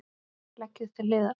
Leggið til hliðar.